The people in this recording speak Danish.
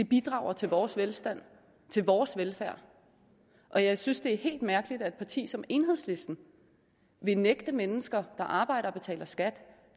bidrager til vores velstand til vores velfærd og jeg synes det er helt mærkeligt at et parti som enhedslisten vil nægte mennesker der arbejder og betaler skat